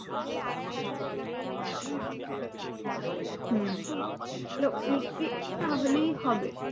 হম লিখবি তাহলেই হবে।